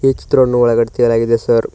ಈ ಚಿತ್ರನ್ನು ಒಳಗಡೆ ತೆಗೆಯಲಾಗಿದೆ ಸರ್ .